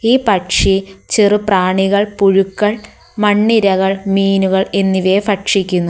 ഈ പക്ഷി ചെറു പ്രാണികൾ പുഴുക്കൾ മണ്ണിരകൾ മീനുകൾ എന്നിവയെ ഭക്ഷിക്കുന്നു.